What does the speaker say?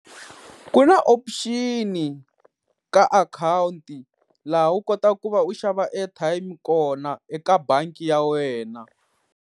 Ku na option ka akhawunti laha u kotaka ku va u xava airtime kona eka bangi ya wena.